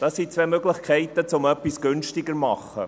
Dies sind zwei Möglichkeiten, um etwas günstiger zu machen.